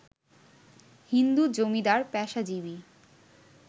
হিন্দু জমিদার, পেশাজীবী